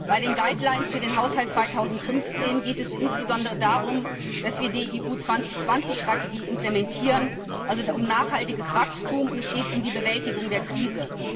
Bei den Leitlinien für den Haushalt2015 geht es insbesondere darum, dass wir die EU 2020 Strategie durchführen, also um nachhaltiges Wachstum, und es geht um die Bewältigung der Krise.